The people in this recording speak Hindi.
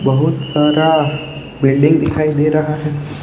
बहुत सारा बिल्डिंग दिखाई दे रहा है।